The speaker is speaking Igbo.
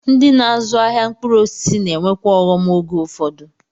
Ndị na-azụ ahịa mkpụrụ osisi na-enwekwa ọghọm oge ụfọdụ.